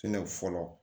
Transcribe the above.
fɔlɔ